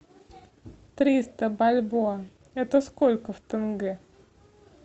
триста бальбоа это сколько в тенге